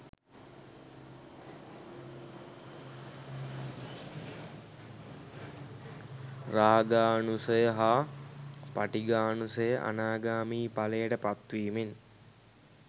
රාගානුසය හා පටිඝානුසය, අනාගාමී ඵලයට පත් වීමෙන්